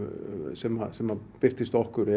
sem sem birtist okkur